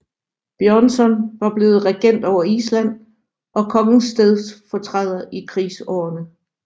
Björnsson var blevet regent over Island og kongens stedfortræder i krigsårene